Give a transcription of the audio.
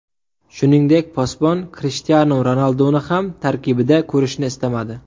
Shuningdek, posbon Krishtianu Ronalduni ham tarkibida ko‘rishni istamadi.